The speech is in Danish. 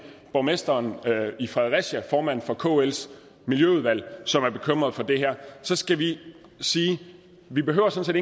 borgmesteren i fredericia formanden for kls miljøudvalg som er bekymret for det her så skal vi sige vi behøver sådan